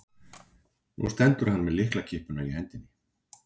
Nú stendur hann með lyklakippuna í hendinni.